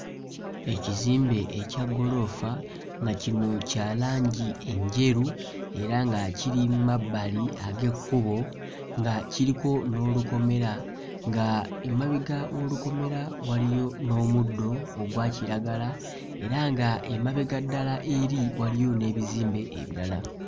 Ekizimbe ekya gguloofa nga kino kya langi enjeru era nga kiri mmabali ag'ekkubo nga kiriko n'olukomera nga emabega w'olukomera waliyo n'omuddo ogwa kiragala era nga emabega ddala eri waliyo n'ebizimbe ebirala.